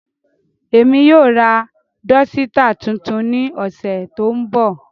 Emi yoo ra dọsitạ tuntun ni ọsẹ to nbọ.